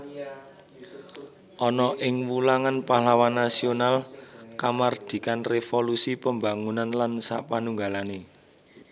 Ana ing wulangan pahlawan nasional kamardikan revolusi pembangunan lan sapanunggalane